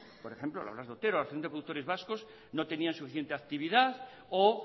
por ejemplo la blas de otero la asociación de productores vascos no tenían suficiente actividad o